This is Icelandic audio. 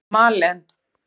Malen